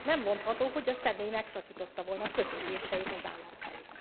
Nem mondható, hogy a személy megszakította volna kötődéseit az állam felé.